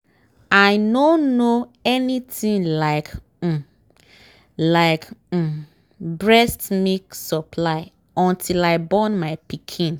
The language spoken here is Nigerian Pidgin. i nor know anything like um like um breast milk supply until i born my pikin